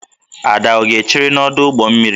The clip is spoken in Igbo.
Ada ọ ga-echere n'ọdụ ụgbọ mmiri?